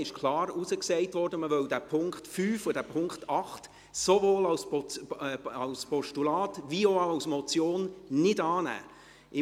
Es wurde klar gesagt, dass man den Punkt 5 und den Punkt 8 sowohl als Postulat als auch als Motion nicht annehmen wolle.